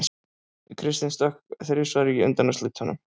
Kristinn stökk þrisvar í undanúrslitunum